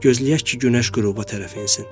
Gözləyək ki, günəş qüruba tərəf insin.